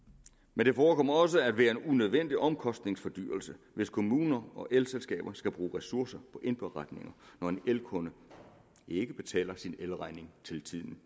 men det forekommer også at være en unødvendig omkostningsforhøjelse hvis kommuner og elselskaber skal bruge ressourcer på indberetninger når en elkunde ikke betaler sin elregning til tiden